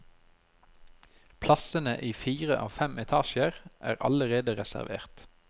Plassene i fire av fem etasjer er allerede reservert.